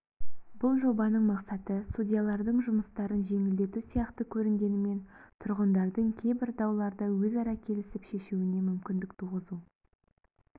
бұл жобаның мақсаты судьялардың жұмыстарын жеңілдету сияқты көрінгенімен тұрғындардың кейбір дауларды өзара келісіп шешуіне мүмкіндік туғызу